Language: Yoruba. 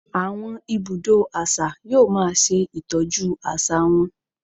Àwọn ibùdó àṣà yóò máa ṣe Ìtọ́jú àṣà wa.